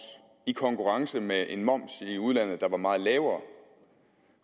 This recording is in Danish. i konkurrence med en moms i udlandet der er meget lavere